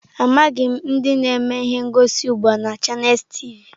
Amaghị m ndị na-eme ihe ngosi ugbu a na Chanels tivi.